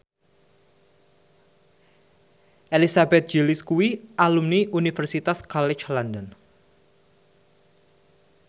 Elizabeth Gillies kuwi alumni Universitas College London